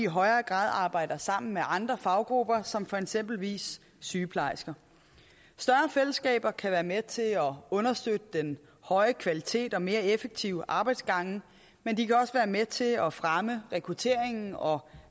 højere grad arbejde sammen med andre faggrupper som for eksempel sygeplejersker større fællesskaber kan være med til at understøtte den høje kvalitet og mere effektive arbejdsgange men de kan også være med til at fremme rekrutteringen og